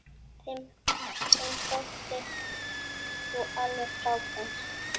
Þeim þótti þú alveg frábær.